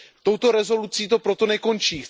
Touto rezolucí to proto nekončí.